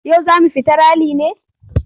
Yau za mu fita rali ne?